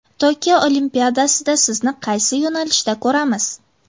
Tokio Olimpiadasida sizni qaysi yo‘nalishda ko‘ramiz?